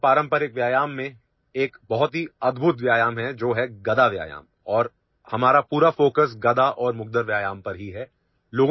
ہندوستان کی روایتی ورزشوں میں ایک بہت ہی حیرت انگیز ورزش ہے جو کہ 'گدا ورزش' ہے اور ہماری پوری توجہ صرف گدا اور مگدر کی ورزش پر ہے